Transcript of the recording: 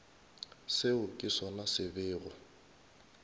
seo ke sona se bego